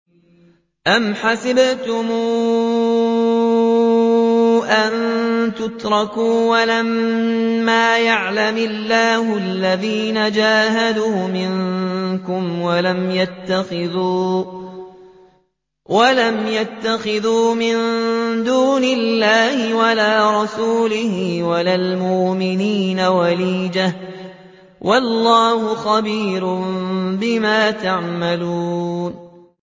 أَمْ حَسِبْتُمْ أَن تُتْرَكُوا وَلَمَّا يَعْلَمِ اللَّهُ الَّذِينَ جَاهَدُوا مِنكُمْ وَلَمْ يَتَّخِذُوا مِن دُونِ اللَّهِ وَلَا رَسُولِهِ وَلَا الْمُؤْمِنِينَ وَلِيجَةً ۚ وَاللَّهُ خَبِيرٌ بِمَا تَعْمَلُونَ